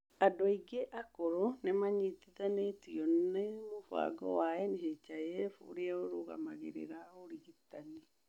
Andũ aingĩ akũrũ nĩ manyitithanĩtio na mũbango wa NHIF ũrĩa ũrũgamagĩrĩra ũrigitani.